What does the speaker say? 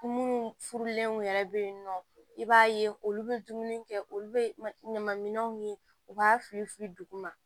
Munnu furulenw yɛrɛ be yen nɔ i b'a ye olu be dumuni kɛ olu be ɲamanminɛnw ye u b'a fili fili duguma